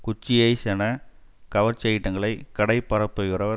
குச்சி ஐஸ் என கவர்ச்சி ஐட்டங்களை கடை பரப்புகிறவர்